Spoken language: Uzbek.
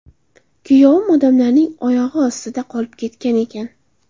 Kuyovim odamlarning oyog‘i ostida qolib ketgan ekan.